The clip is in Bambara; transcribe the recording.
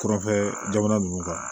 Kurafɛ jamana ninnu kan